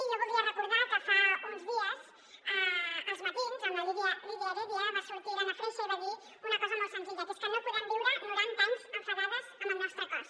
i jo voldria recordar que fa uns dies a els matins amb la lídia heredia va sortir l’anna freixas i va dir una cosa molt senzilla que és que no podem viure noranta anys enfadades amb el nostre cos